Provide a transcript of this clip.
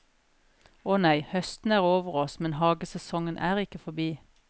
Å nei, høsten er over oss, men hagesesongen er ikke forbi.